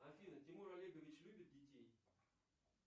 афина тимур олегович любит детей